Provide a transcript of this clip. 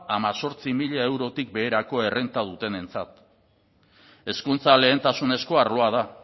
hemezortzi mila eurotik beherako errenta dutenentzat hezkuntza lehentasunezko arloa da